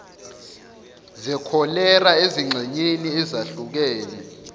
zekholera ezingxenyeni ezahlukene